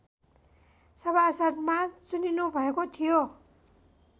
सभासदमा चुनिनुभएको थियो